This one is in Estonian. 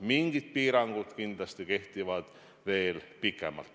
Mingid piirangud kindlasti kehtivad veel pikemalt.